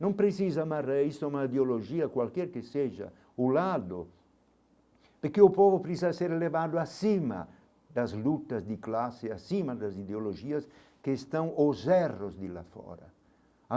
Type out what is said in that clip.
Não precisa amarrar isso a uma ideologia qualquer que seja o lado, porque o povo precisa ser elevado acima das lutas de classe, acima das ideologias que estão os erros de lá fora.